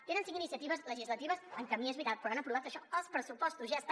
tenen cinc iniciatives legislatives en camí és veritat però han aprovat això els pressupostos ja està